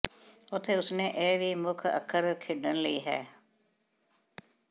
ਉੱਥੇ ਉਸ ਨੇ ਇਹ ਵੀ ਮੁੱਖ ਅੱਖਰ ਖੇਡਣ ਲਈ ਹੈ